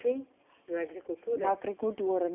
Sim, na agricultura. Na agricultura.